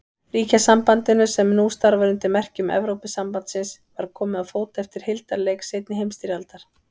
Ríkjasambandinu, sem nú starfar undir merkjum Evrópusambandsins, var komið á fót eftir hildarleik seinni heimsstyrjaldar.